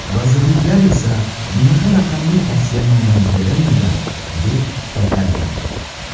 Vazirliklar esa bunaqa raqamli tavsiyanoma berilmagan, deb qaytargan.